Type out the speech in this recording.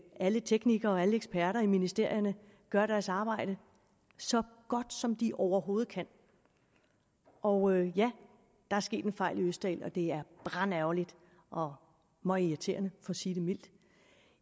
alle teknikere og alle eksperter i ministerierne gør deres arbejde så godt som de overhovedet kan og ja der er sket en fejl i østerild og det er brandærgerligt og møgirriterende for at sige det mildt